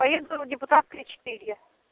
поеду депутатская четыре